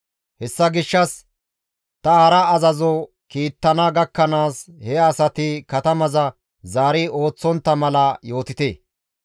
Hessa gishshas ta hara azazo kiittana gakkanaas he asati katamaza zaari ooththontta mala yootite.